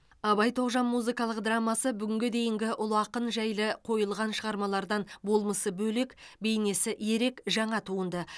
абай тоғжан музыкалық драмасы бүгінге дейінгі ұлы ақын жайлы қойылған шығармалардан болмысы бөлек бейнесі ерек жаңа туынды